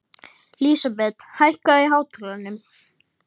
Lísabet, hækkaðu í hátalaranum.